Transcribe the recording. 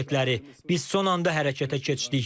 Biz son anda hərəkətə keçdik.